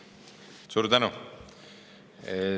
Suur tänu!